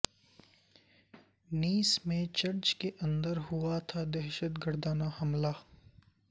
نیس میں چرچ کے اندر ہوا تھا دہشت گردانہ حملہ